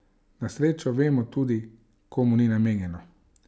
Na srečo vemo tudi, komu ni namenjeno!